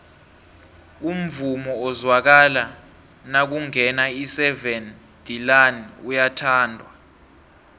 umvumo ozwakala nakungena iseven delaan uyathandwa